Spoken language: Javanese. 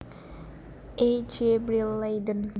E J Brill Leiden